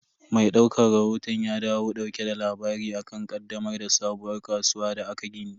Mai daukan rahoton ya dawo dauke da labari akan ƙaddamar da sabuwar kasuwar da aka gini.